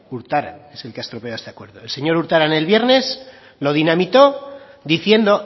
urtaran es el que ha estropeado este acuerdo el señor urtaran el viernes lo dinamitó diciendo